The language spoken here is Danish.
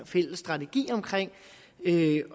fælles strategi omkring